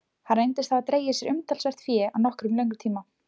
Hann reyndist hafa dregið sér umtalsvert fé á nokkuð löngum tíma.